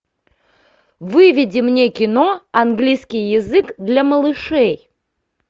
выведи мне кино английский язык для малышей